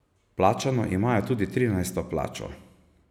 Plačano imajo tudi trinajsto plačo.